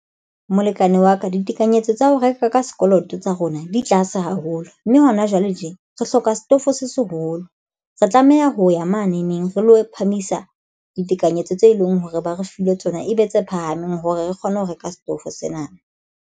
Molekane wa ka ditekanyetso tsa ho reka ka sekoloto tsa rona di tlase haholo, mme hona jwale tje re hloka setofo se seholo re tlameha ho ya mane neng re lo phamisa ditekanyetso tse leng hore ba re file tsona e be tse phahameng hore re kgone ho reka setofo sena.